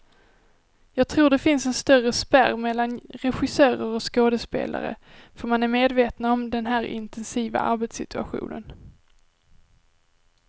Jag tror det finns en större spärr mellan regissörer och skådespelare, för man är medvetna om den här intensiva arbetssituationen.